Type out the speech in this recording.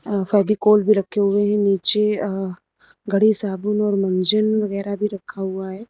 फेविकोल भी रखे हुए है नीचे अ घड़ी साबुन और मंजन वगैरा भी रखा हुआ है।